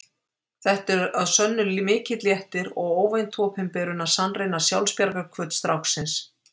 Þetta er að sönnu mikill léttir og óvænt opinberun að sannreyna sjálfsbjargarhvöt stráksins.